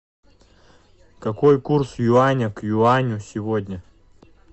какой курс юаня к юаню сегодня